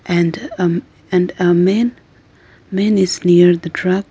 And um and a man man is near the truck.